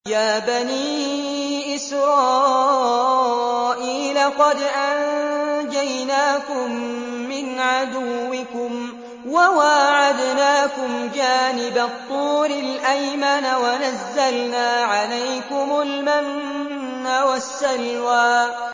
يَا بَنِي إِسْرَائِيلَ قَدْ أَنجَيْنَاكُم مِّنْ عَدُوِّكُمْ وَوَاعَدْنَاكُمْ جَانِبَ الطُّورِ الْأَيْمَنَ وَنَزَّلْنَا عَلَيْكُمُ الْمَنَّ وَالسَّلْوَىٰ